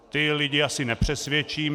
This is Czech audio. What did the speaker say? Ty lidi asi nepřesvědčím.